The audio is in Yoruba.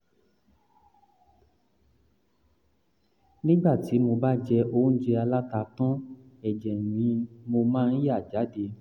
nígbà tí mo bá jẹ oúnjẹ aláta tán ẹ̀jẹ̀ ni mo máa ń yà jáde